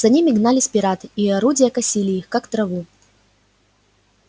за ними гнались пираты и орудия косили их как траву